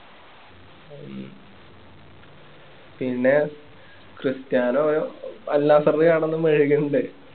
പിന്നെ Cristiano Al നാസ്സറില് കെടന്ന് മെഴുകുന്നിണ്ട്